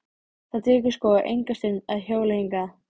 Það tekur sko enga stund að hjóla hingað.